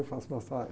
E faço massagem.